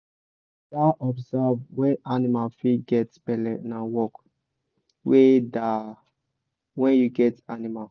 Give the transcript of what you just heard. to da observe when animal fit get belle na work wey da when you get animal